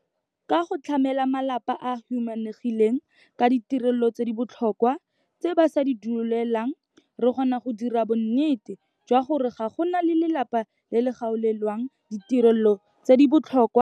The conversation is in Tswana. Ka go tlamela malapa a a humanegileng ka ditirelo tse di botlhokwa tse ba sa di dueleleng, re kgona go dira bonnete jwa gore ga go na lelapa le le kgaolelwang ditirelo tse di botlhokwa tseno.